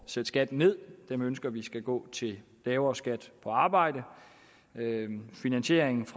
sætte skatten ned ønsker vi skal gå til lavere skat på arbejde finansiering